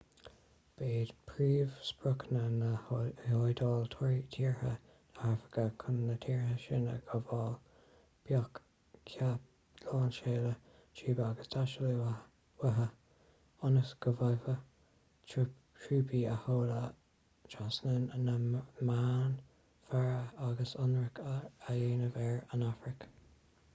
ba iad príomhspriocanna na hiodáile tíortha na hafraice. chun na tíortha sin a ghabháil bheadh ​​ceap lainseála trúpaí ag teastáil uathu ionas go bhféadfadh trúpaí a sheoladh trasna na meánmhara agus ionradh a dhéanamh ar an afraic